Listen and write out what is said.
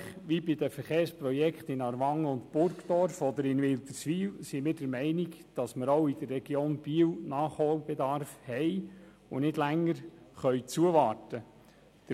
Ähnlich wie bei den Verkehrsprojekten in Aarwangen und Burgdorf oder in Wilderswil sind wir der Meinung, dass auch in der Region Biel Nachholbedarf besteht, und wir nicht länger zuwarten können.